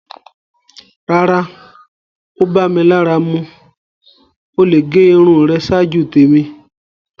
Rárá, o bá mí lárà mú. O le gé irùn rẹ̀ ṣáàjú tẹ̀mi.